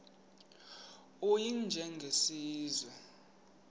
u y njengesiwezi